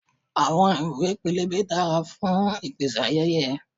Àwọn ìwé pélébé dára fún ìpèsáyẹyẹ.